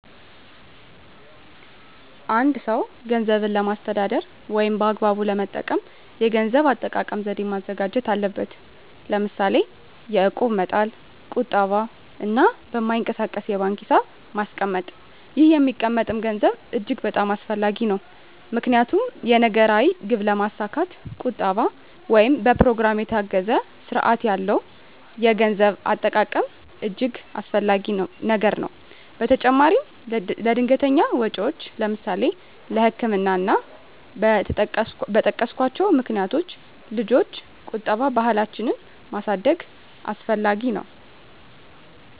አ አንድ ሰው ገንዘብን ለማስተዳደር ወይም በአግባቡ ለመጠቀም የገንዘብ አጠቃቀም ዘዴ ማዘጋጀት አለበት ለምሳሌ የእቁብ መጣል ቁጠባ እና በማይንቀሳቀስ የባንክ ሒሳብ ማስቀመጥ ይህ የሚቀመጠም ገንዘብ እጅግ በጣም አስፈላጊ ነው ምክንያቱም የነገ ራዕይ ግብ ለማስካት ቁጠባ ወይም በኘሮግራም የታገዘ ስርአት ያለው የገንዘብ አጠቃቀም እጅገ አስፈላጊ ነገር ነው በተጨማራም ለድንገተኛ ወጨወች ለምሳሌ ለህክምና እና እና በጠቀስኮቸው ምክንያቶች ልጆች ቁጠባ ባህላችን ማድረግ አስፈላጊ ነው።